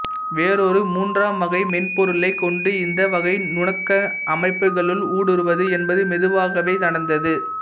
வேறொரு மூன்றாம் வகை மென்பொருளை கொண்டு இந்த வகை நுணக்க அமைப்புகளுள் ஊடுருவது என்பது மெதுவாகவே நடந்தது